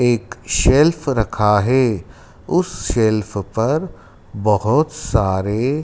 एक सेल्फ रखा है उस सेल्फ पर बहोत सारे--